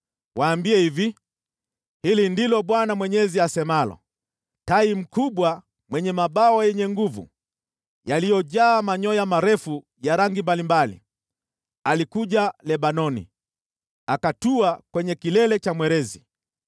Waambie hivi, ‘Hili ndilo Bwana Mwenyezi asemalo: Tai mkubwa mwenye mabawa yenye nguvu, yaliyojaa manyoya marefu ya rangi mbalimbali, alikuja Lebanoni. Akatua kwenye kilele cha mwerezi,